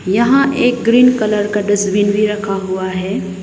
यहां एक green colour का डस्टबिन भी रखा हुआ है।